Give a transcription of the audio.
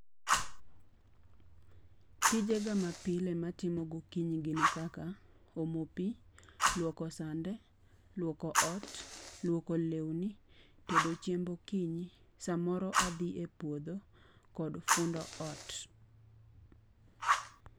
Tijega mapile matimo gokinyi gin kaka omo pii, luoko sande, luoko ot, luoko lewni, tedo chiemb okinyi, samoro adhi e puodho kod fundo ot